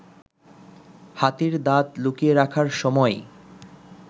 হাতির দাঁত লুকিয়ে রাখার সময়